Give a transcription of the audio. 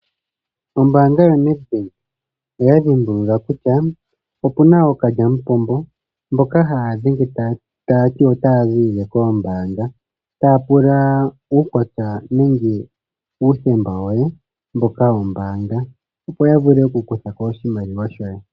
Ombanga yo Ned Bank oya dhimbulula kutya, opuna ookalyamupombomboka haya dhenge taya ti, otaya zilile koombanga, taya pula uukwatya nenge uuthemba woye wombanga, opo ya vule oku kuthako oshimaliwa shoye.